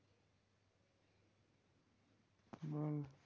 বল